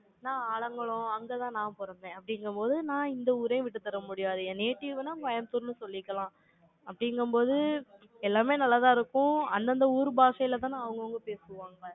நான் ஆலங்குளம், அங்கதான் நான் பிறந்தேன், அப்படிங்கும்போது, நான் இந்த ஊரையும் விட்டுத் தர முடியாது. என் native ன்னா, கோயம்புத்தூர்ன்னு சொல்லிக்கலாம் அப்படிங்கும்போது, எல்லாமே நல்லாதான் இருக்கும். அந்தந்த ஊர் பாஷையிலதானே, அவங்கவங்க பேசுவாங்க.